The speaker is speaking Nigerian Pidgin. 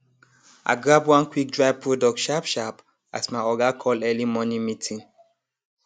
i grab one quickdry product sharp sharp as my oga call early morning meeting